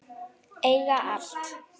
Eiga allt.